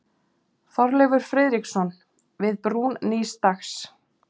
Þorleifur Friðriksson: Við brún nýs dags.